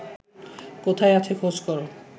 কোথায় আছে খোঁজ কর